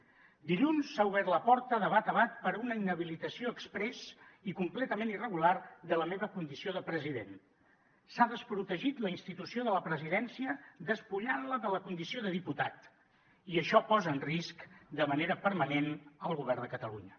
dilluns s’ha obert la porta de bat a bat per a una inhabilitació exprés i completament irregular de la meva condició de president s’ha desprotegit la institució de la presidència despullant la de la condició de diputat i això posa en risc de manera permanent el govern de catalunya